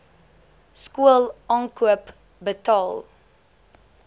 skool aankoop betaal